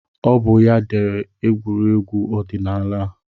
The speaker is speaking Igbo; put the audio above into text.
Ọ bụ ya dere egwuregwu ọdịnaala a